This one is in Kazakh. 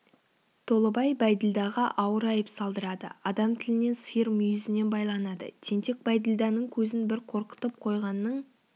толыбай бәйділдаға ауыр айып салдырады адам тілінен сиыр мүйізінен байланады тентек бәйділданың көзін бір қорқытып қойғанның